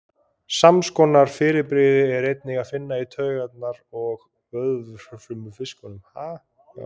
sams konar fyrirbrigði er einnig að finna í tauga og vöðvafrumum í fiskum